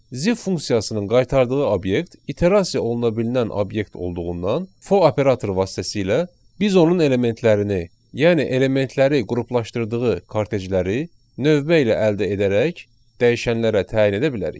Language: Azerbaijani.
Zip funksiyasının qaytardığı obyekt iterasiya oluna bilinən obyekt olduğundan, for operatoru vasitəsilə biz onun elementlərini, yəni elementləri qruplaşdırdığı kortejləri növbə ilə əldə edərək dəyişənlərə təyin edə bilərik.